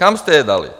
Kam jste je dali?